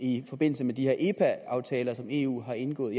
i forbindelse med de her epa aftaler som eu har indgået